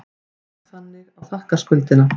Jók þannig á þakkarskuldina.